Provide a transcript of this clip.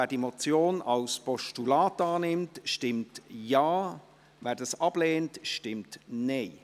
Wer die Motion als Postulat annimmt, stimmt Ja, wer dies ablehnt, stimmt Nein.